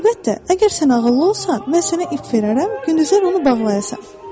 Əlbəttə, əgər sən ağıllı olsan, mən sənə ip verərəm, gündüzlər onu bağlayasan.